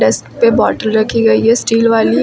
इस पे बॉटल रखी गई है स्टील वाली।